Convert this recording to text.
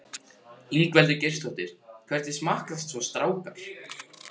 Ingveldur Geirsdóttir: Hvernig smakkast svo strákar?